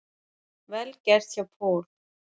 Vel gert hjá Paul.